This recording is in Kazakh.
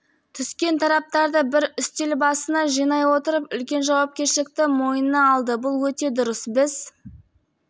түскен тараптарды бір үстел басына жинай отырып үлкен жауапкершілікті мойнына алды бұл өте дұрыс біз